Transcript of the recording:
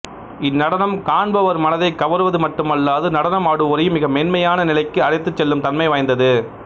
இந்நடனம் காண்பவர் மனதை கவர்வது மட்டுமல்லாது நடனம் ஆடுவோரையும் மிக மென்மையான நிலைக்கு அழைத்துச் செல்லும் தன்மை வாய்ந்தது